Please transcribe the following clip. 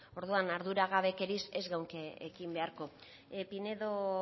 orduan arduragabekeriaz ez geunke ekin beharko pinedo